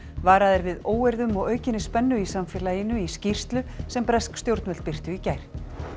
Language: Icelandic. varað er við óeirðum og aukinni spennu í samfélaginu í skýrslu sem bresk stjórnvöld birtu í gær